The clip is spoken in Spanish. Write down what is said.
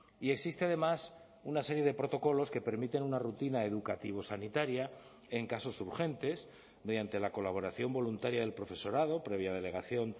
y existe además una serie de protocolos que permiten una rutina educativo sanitaria en casos urgentes mediante la colaboración voluntaria del profesorado previa delegación